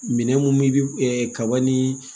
Minɛn mun bi kaba ni